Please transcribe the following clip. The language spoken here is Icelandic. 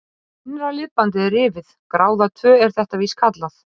Innra liðbandið er rifið, gráða tvö er þetta víst kallað.